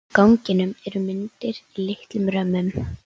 Á ganginum eru myndir í litlum römmum.